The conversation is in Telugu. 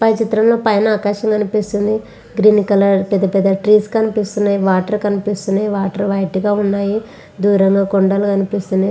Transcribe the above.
పైన చిత్రం లో పైన ఆకాశం కనిపిస్తుంది. గ్రీన్ కలర్ పెద్ద ట్రేస్ కనిపిస్తున్నాయి. వాటర్ కనిపిస్తున్నాయి.వాటర్ వైట్ గా ఉన్నాయి. దూరంగా కొండలు కనిపిస్తున్నాయి.